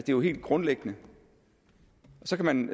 jo helt grundlæggende så kan man